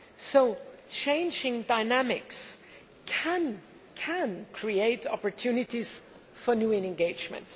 So changing dynamics can create opportunities for new engagement.